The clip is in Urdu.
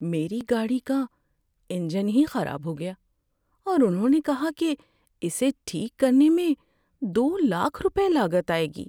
میری گاڑی کا انجن ہی خراب ہو گیا اور انہوں نے کہا کہ اسے ٹھیک کرنے میں دو لاکھ روپے لاگت آئے گی۔